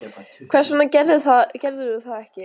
Hversvegna gerðirðu það ekki?